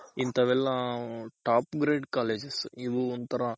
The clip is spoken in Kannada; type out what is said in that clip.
ಇಂಥವ್ ಎಲ್ಲಾ top grade colleges ಇವು ಒಂತರ